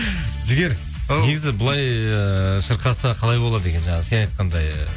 жігер ау негізі былай ыыы шырқаса қалай болады екен жаңа сен айтқандай